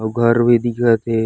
आऊ घर भी दिखत हे।